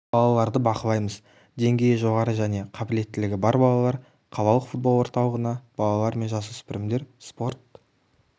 балаларды бақылаймыз деңгейі жоғары және қабілеттілігі бар балалар қалалық футбол орталығына балалар мен жасөспірімдер спорт